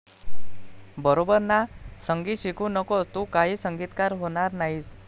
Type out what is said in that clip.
बरोबर ना? संगीत शिकू नकोस, तू काही संगीतकार होणार नाहीस.